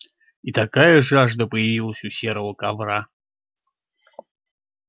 и такая жажда появилась у серого ковра